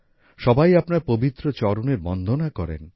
সবাই আপনার পবিত্র চরণের বন্দনা করেন